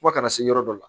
Fo ka na se yɔrɔ dɔ la